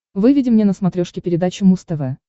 выведи мне на смотрешке передачу муз тв